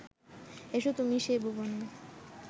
এসো তুমি সে ভুবনে